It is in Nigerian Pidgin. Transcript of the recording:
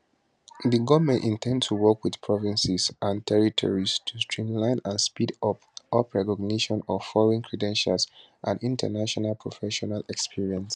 di goment in ten d to work wit provinces and territories to streamline and speed up up recognition of foreign credentials and international professional experience